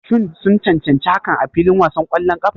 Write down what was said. Shin sun cancanci hakan a filin wasan ƙwallon ƙafa?